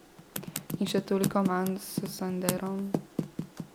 In še toliko manj s sanderom!